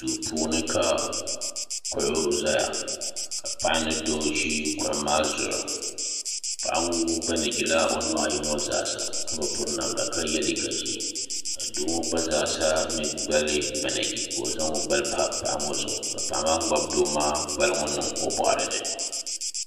Duu puuni ka kuɣu zaya ka paɣa ni doo ʒi kuɣu maa zuɣu paɣa ŋɔ mi banɛɛji la o nuhi ayi ŋɔ zaa sa ka bi piri namda ka yɛ liiga ʒee ka doo ŋɔ gba zaa sa mi gbali banɛɛji ka o zaŋ o gbali pa paɣa ŋɔ zuɣu ka paɣa ŋɔ ŋmabi doo maa gbali ŋɔ niŋ o bɔɣiri ni.